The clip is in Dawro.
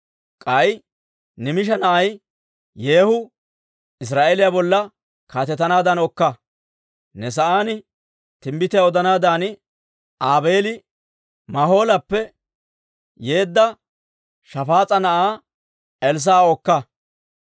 K'ay Nimisha na'ay Yeehu Israa'eeliyaa bolla kaatetanaaddan okka. Ne sa'aan timbbitiyaa odanaadan Aabeeli Mahoolappe yeedda Shafaas'a na'aa Elssaa'a okka.